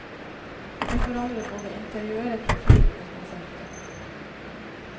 Vi forandrer både interiøret, profilen og konseptet.